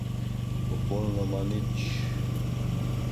Popolnoma nič.